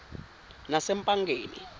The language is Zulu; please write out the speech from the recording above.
nasempangeni